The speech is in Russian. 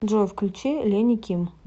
джой включи лени ким